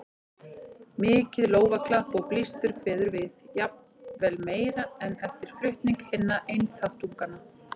Mikið lófaklapp og blístur kveður við, jafnvel meira en eftir flutning hinna einþáttunganna.